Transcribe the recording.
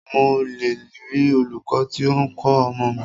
Ṣé mo le rí olūkọ́ tí o ń kọ́ ọmọ mi?